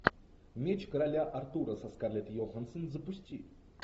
меч короля артура со скарлетт йоханссон запусти